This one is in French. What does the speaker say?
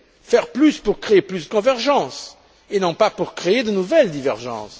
Faire plus pour créer plus de convergences et non pas pour créer de nouvelles divergences.